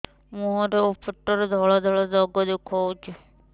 ମୁହଁରେ ଆଉ ପେଟରେ ଧଳା ଧଳା ଦାଗ ଦେଖାଯାଉଛି